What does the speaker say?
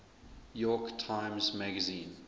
york times magazine